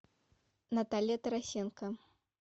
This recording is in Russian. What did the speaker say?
наталья тарасенко